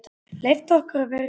Leyft okkur að vera í friði?